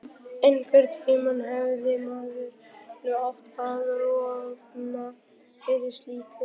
Einhverntíma hefði maður nú átt að roðna yfir slíku.